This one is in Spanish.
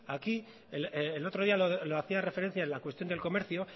aquí el otro día lo hacía referencia en la cuestión del comercio